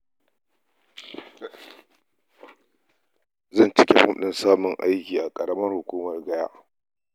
Zan cike fom ɗin samun aiki a ƙaramar hukumar Gaya?